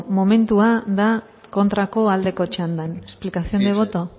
momentua da kontrako aldeko txanda explicación de voto